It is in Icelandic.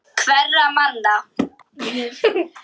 Ég er svo rugluð.